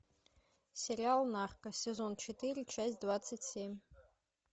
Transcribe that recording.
сериал нарко сезон четыре часть двадцать семь